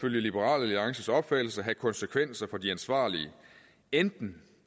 liberal alliances opfattelse have konsekvenser for de ansvarlige enten